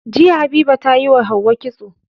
Jiya habiba tayi wa hauwa kitso